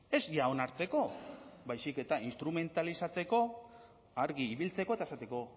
ez ja onartzeko baizik eta instrumentalizatzeko argi ibiltzeko eta esateko